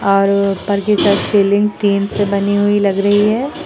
और ऊपर ceiling tin से बनी हुई लग रही है।